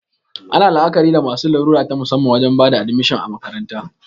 Ana la'akari da masu larura ta musamman wajen bada admishin a makaranta